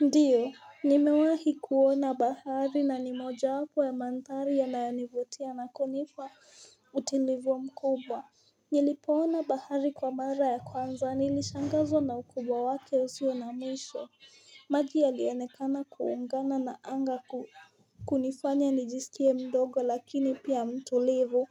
Ndio, nimewahi kuona bahari na ni mojawapo ya mandhari yanayonivutia na kunipa utulivu mkubwa Nilipoona bahari kwa mara ya kwanza, nilishangazwa na ukubwa wake usio na mwisho maji yalionekana kuungana na anga kunifanya nijisikie mdogo, lakini pia mtulivu